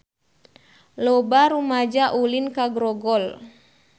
Loba rumaja ulin ka Grogol